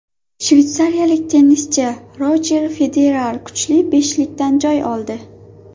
Shveysariyalik tennischi Rojer Federer kuchli beshlikdan joy oldi.